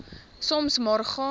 soms maar gaan